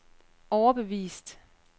overbevist